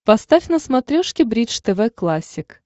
поставь на смотрешке бридж тв классик